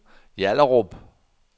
Hjallerup